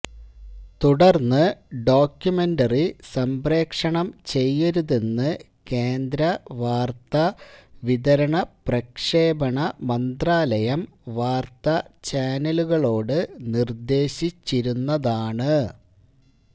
തുടർന്ന് ഡോക്യുമെന്ററി സംപ്രേഷണം ചെയ്തരുതെന്ന് കേന്ദ്ര വാർത്താ വിതരണ പ്രക്ഷേപണ മന്ത്രാലയം വാർത്താ ചാനലുകളോട് നിർദ്ദേശിച്ചിരുന്നതാണ്